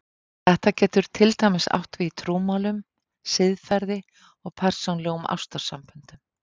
Þetta getur til dæmis átt við í trúmálum, siðferði, og persónulegum ástarsamböndum.